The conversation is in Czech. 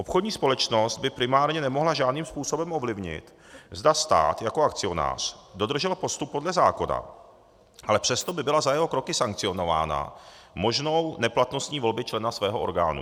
Obchodní společnost by primárně nemohla žádným způsobem ovlivnit, zda stát jako akcionář dodržel postup podle zákona, ale přesto by byla za jeho kroky sankcionována možnou neplatností volby člena svého orgánu.